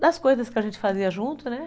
das coisas que a gente fazia junto, né?